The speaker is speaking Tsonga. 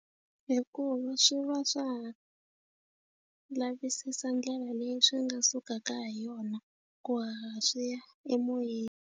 Hikuva swi va swa ha lavisisa ndlela leyi swi nga sukaka hi yona ku haha swiya emoyeni.